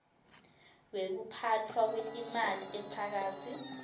wekuphatfwa kwetimali temphakatsi